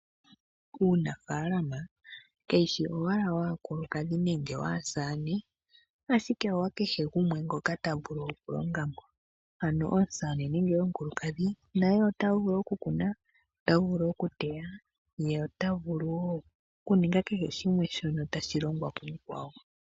Uunafaalama kawushi owala waakulukadhi nenge waasamane ashike owa kehe gumwe ngoka ta vulu oku longa mo. Ano omusamane nenge omukulukadhi naye ota vulu oku kuna, ota vulu oku teya ye ota vulu wo oku ninga kehe shimwe shono tashi longwa ku mukwawo.